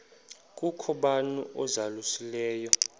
kukho bani uzalusileyo